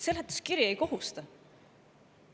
Seletuskiri ei kohusta!